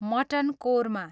mutton korma